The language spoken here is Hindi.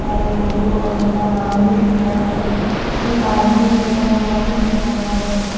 और लोगो और उनका नाम भी दिख रहा है और एक आदमी बेठा हुआ भी दिख रहा है।